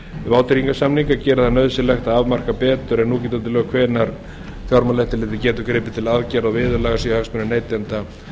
vátryggingarsamninga gera það nauðsynlegt að afmarka betur en gildandi lög hvenær fjármálaeftirlitið getur gripið til aðgerða og viðurlaga séu hagsmunir neytenda